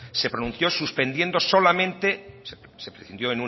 se pronunció suspendiendo solamente se prescindió